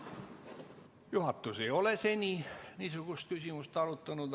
Juhatus ei ole seni niisugust küsimust arutanud.